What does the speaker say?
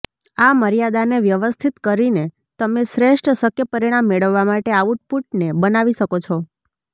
આ મર્યાદાને વ્યવસ્થિત કરીને તમે શ્રેષ્ઠ શક્ય પરિણામ મેળવવા માટે આઉટપુટને બનાવી શકો છો